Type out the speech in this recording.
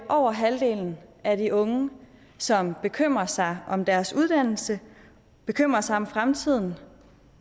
over halvdelen af de unge som bekymrer sig om deres uddannelse bekymrer sig om fremtiden